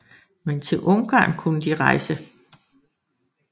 Men til Ungarn kunne de rejse